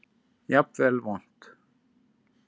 Jafnvel vont.